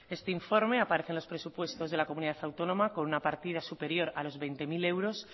este informe aparece en los presupuestos de la comunidad autónoma con una partida superior a los veinte mil euros